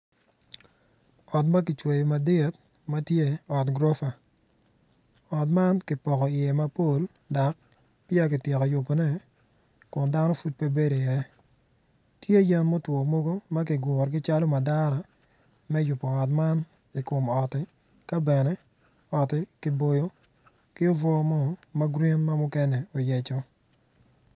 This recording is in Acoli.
Ot ma kicweyo madit ma tye ot gurofa ot man kipoko iye mapol dok peya kityeko yubone kun dano pud pe bedo iye tye yen mutwo mogo ma kigurogi calo madara me yubo ot man i kom otti ka bene otti kiboyo kome ki obwo mo ma kome oyecco.